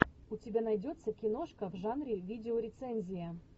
у тебя найдется киношка в жанре видеорецензия